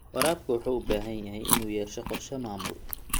Waraabka wuxuu u baahan yahay inuu yeesho qorshe maamul.